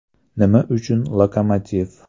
Nima uchun ‘Lokomotiv’?